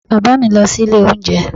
Bàbá mi lọ sí ilé oúnjẹ